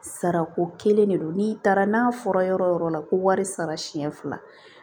Sara ko kelen de don n'i taara n'a fɔra yɔrɔ o yɔrɔ la ko wari sara siɲɛ fila